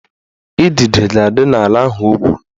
Idide ga-adị n'ala ahụ o gwuru